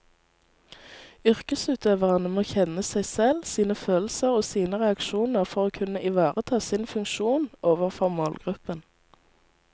Yrkesutøverne må kjenne seg selv, sine følelser og sine reaksjoner for å kunne ivareta sin funksjon overfor målgruppen.